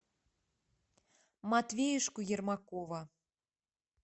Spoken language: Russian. матвеюшку ермакова